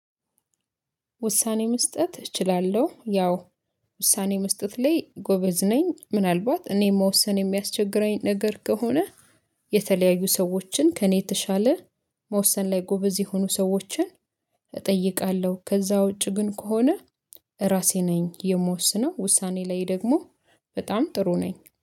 ውሳኔ መስጠት እችላለሁ ያው ውሳኔ መስጠት ላይ ጎበዝ ነኝ ምናልባት እኔ መወሰን የሚያስቸግረኝ ነገር ከሆነ የተለያዩ ሰዎችን ከእኔ የተሻለ መወሰን ላይ ጎበዝ የሆኑ ሰዎችን እጠይቃለሁ። ከዛ ውጪ ግን ከሆነ ራሴ ነኝ የምወስነው ውሳኔ ላይ ደግሞ በጣም ጥሩ ነኝ